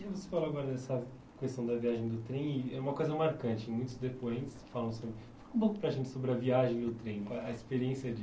E você falou agora dessa questão da viagem do trem, e é uma coisa marcante, muitos depoentes falam assim, fala um pouco para a gente sobre a viagem do trem, qual a experiência de...